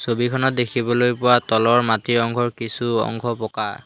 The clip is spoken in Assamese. ছবিখনত দেখিবলৈ পোৱা তলৰ মাটি অংশৰ কিছু অংশ বোকা।